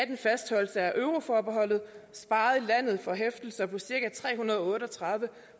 en fastholdelse af euroforbeholdet sparede landet for hæftelser på cirka tre hundrede og otte og tredive